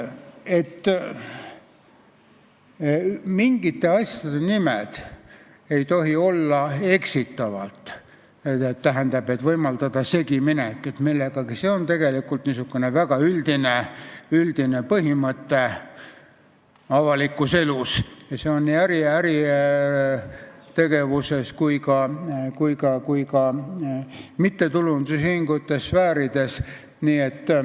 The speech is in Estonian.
Et mingite asjade nimed ei tohi olla eksitavad, st ei tohi võimaldada segiminekut millegagi, on tegelikult väga üldine põhimõte avalikus elus ja see on nii äritegevuses ja ka mittetulundusühingute sfäärides.